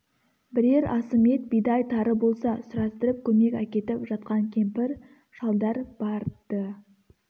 бірер асым ет бидай тары болса сұрастырып көмек әкетіп жатқан кемпір-шалдар бар-ды